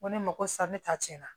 Ko ne ma ko sa ne ta cɛn na